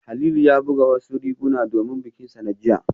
Halilu ya buga wasu riguna domin bikinsa na jiya